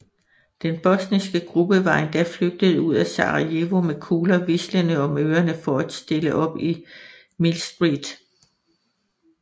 Den bosniske gruppe var endda flygtet ud af Sarajevo med kugler hvislende om ørerne for at stille op i Millstreet